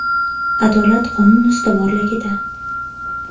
Adolat – qonun ustuvorligida!